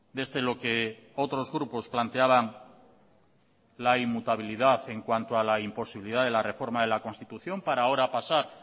desde lo que otros grupos planteaban la inmutabilidad en cuanto a la imposibilidad de la reforma de la constitución para ahora pasar